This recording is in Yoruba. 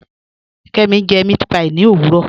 Kẹmi jẹ mẹ̀àtpí ní owurọ